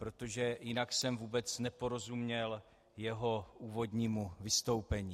Protože jinak jsem vůbec neporozuměl jeho úvodnímu vystoupení.